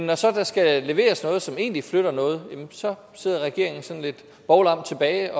der så skal leveres noget som egentlig flytter noget jamen så sidder regeringen sådan lidt bovlam tilbage